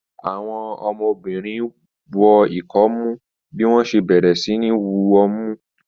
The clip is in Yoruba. Àwọn ọ̀dọ́mọbìnrin wọ ikomu bí wọ́n ṣe bẹ̀rẹ̀ sí ní wu ọmú